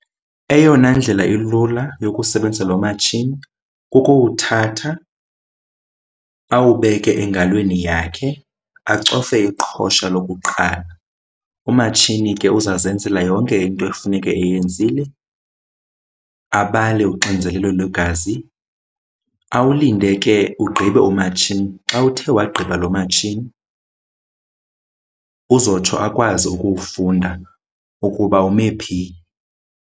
Eyona ndlela ilula yokusebenzisa lo matshini kukuwuthatha awubeke engalweni yakhe acofe iqhosha lokuqala. Umatshini ke uza zenzela yonke into ekufuneke eyenzile abale uxinzelelo lwegazi, awulinde ke ugqibe umatshini. Xa uthe wagqiba loo matshini uzotsho akwazi ukuwufunda ukuba ume phi.